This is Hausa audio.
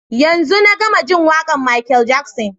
Yanzun na gama jin waƙar Michael Jackson.